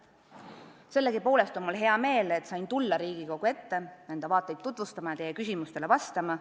Sellegipoolest on mul hea meel, et sain tulla Riigikogu ette enda vaateid tutvustama ja teie küsimustele vastama.